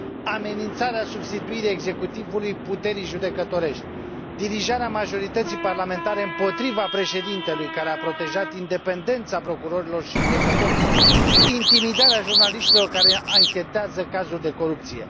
amenințarea substituirii executivului puterii judecătorești, dirijarea majorității parlamentare împotriva Președintelui care a protejat independența procurorilor și judecătorilor, intimidarea jurnaliștilor care anchetează cazuri de corupție.